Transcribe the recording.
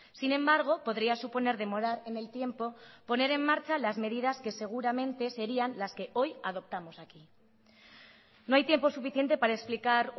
sin embargo podría suponer demorar en el tiempo poner en marcha las medidas que seguramente serían las que hoy adoptamos aquí no hay tiempo suficiente para explicar